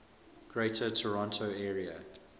greater toronto area